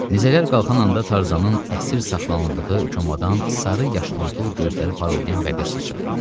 Nizələr qalxan anda Tarzanın əsir saxlanıldığı komanndan sarı yaşılımtıl gözləri parıldayan bəbir sıçradı.